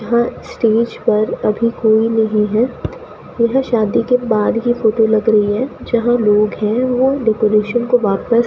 यहां स्टेज पर अभी कोई नहीं है यह शादी के बाद की फोटो लग रही है जहां लोग हैं ओ डेकोरेशन को वापस --